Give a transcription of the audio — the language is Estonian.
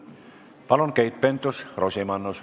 Palun, Keit Pentus-Rosimannus!